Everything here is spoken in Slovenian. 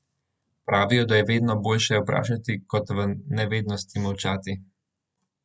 Pravijo, da je vedno boljše vprašati kot v nevednosti molčati.